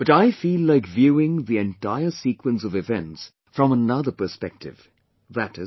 But I feel like viewing the entire sequence of events from another perspective, i